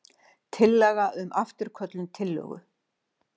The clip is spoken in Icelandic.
Tillaga um afturköllun tillögu.